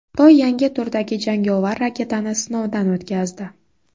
Xitoy yangi turdagi jangovar raketani sinovdan o‘tkazdi.